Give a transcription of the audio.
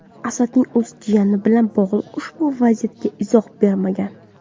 Asadning o‘zi jiyani bilan bog‘liq ushbu vaziyatga izoh bermagan.